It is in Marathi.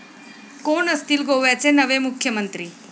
कोण असतील गोव्याचे नवे मुख्यमंत्री?